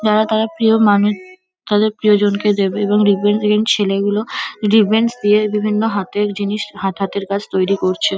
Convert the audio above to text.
যারা তার প্রিয় মানুষ তাদের প্রিয়জনকে দেবে ছেলেগুলো দিয়ে বিভিন্ন হাতের জিনিস হাত হাতের কাজ তৈরি করছে।